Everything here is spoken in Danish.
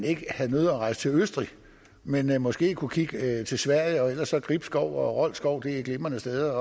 ikke har nødig at rejse til østrig men måske kunne kigge til sverige ellers er gribskov og rold skov glimrende steder